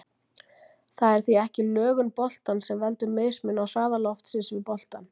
Það er því ekki lögun boltans sem veldur mismun á hraða loftsins við boltann.